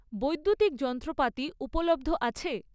বৈদ্যুতিক যন্ত্রপাতি উপলব্ধ আছে?